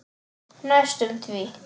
Næstum því.